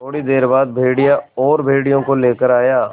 थोड़ी देर बाद भेड़िया और भेड़ियों को लेकर आया